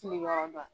Fili yɔrɔ dɔ